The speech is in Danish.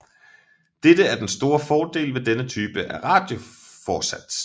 Dette er den store fordel ved denne type af radioforsats